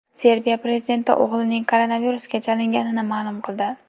Serbiya prezidenti o‘g‘lining koronavirusga chalinganini ma’lum qildi.